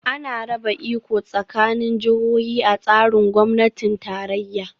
Ana raba iko tsakanin jihohi a tsarin gwamnatin tarayya